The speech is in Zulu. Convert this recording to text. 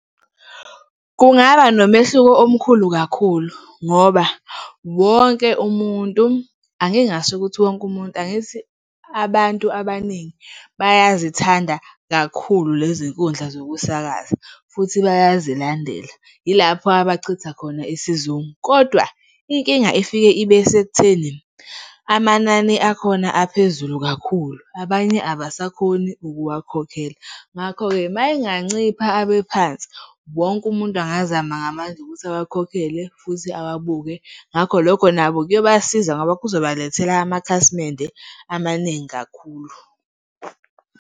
Kungaba nomehluko omkhulu kakhulu ngoba wonke umuntu, angingasho ukuthi wonke umuntu, angithi abantu abaningi bayazithanda kakhulu lezi nkundla zokusakaza futhi bayazilandela, yilapho abachitha khona isizungu. Kodwa inkinga efike ibe sekutheni amanani akhona aphezulu kakhulu, abanye abasakhoni ukuwakhokhela. Ngakho-ke, uma engancipha abe phansi, wonke umuntu angazama ngamandla ukuthi awakhokhele futhi awabuke, ngakho lokho nabo kuyobasiza ngoba kuzobalethela amakhasimende amaningi kakhulu.